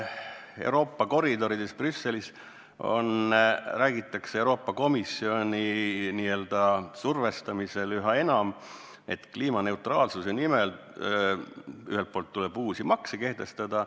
Euroopa koridorides, Brüsselis räägitakse Euroopa Komisjoni survel üha enam, et kliimaneutraalsuse nimel tuleb uusi makse kehtestada.